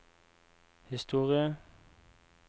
historie